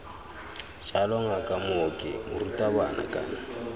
jalo ngaka mooki morutabana kana